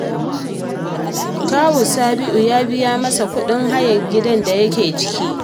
Kawun Sabi’u ya bi ya masa kuɗin hayar gidan da yake ciki